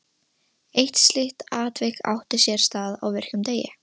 Eitt slíkt atvik átti sér stað á virkum degi.